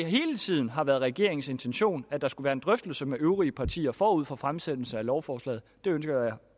hele tiden har været regeringens intention at der skulle være en drøftelse med øvrige partier forud for fremsættelsen af lovforslaget det ønsker jeg